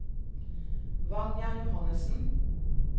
Vanja Johannessen